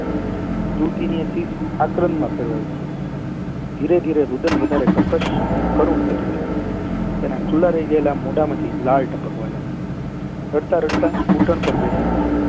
દિલ થી એની ચીસ આક્રમ માં ફેરવાઈ ગઈ ધીરે ધીરે રુધન વધારે કર્કશ કરુણ થતું ગયું તેના ખુલ્લા રહી ગયેલા મોઢા માંથી લાળ ટપકવા લાગી રડતા રડતા ઘુટણ પર બેસી ગઈ